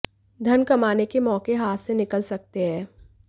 धन कमाने के मौक़े हाथ से निकल सकते हैं